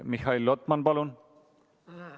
Mihhail Lotman, palun!